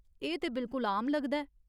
एह् ते बिल्कुल आम लगदा ऐ।